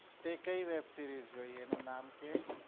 તે કઈ web series જોઈ એનું નામ કહે